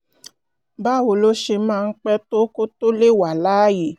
báwo ló ṣe máa pẹ́ tó kó tó lè wà láàyè?